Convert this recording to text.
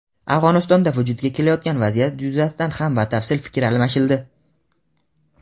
Afg‘onistonda vujudga kelayotgan vaziyat yuzasidan ham batafsil fikr almashildi.